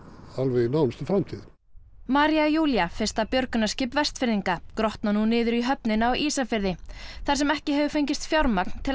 í nánustu framtíð María Júlía fyrsta björgunarskip Vestfirðinga grotnar nú niður í höfninni á Ísafirði þar sem ekki hefur fengist fjármagn til að